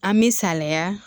An me saliya